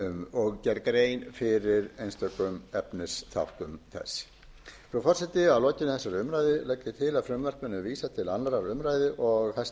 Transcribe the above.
og gerð grein fyrir einstökum efnisþáttum þess frú forseti að lokinni þessari umræðu legg ég til að frumvarpinu verði vísað til annarrar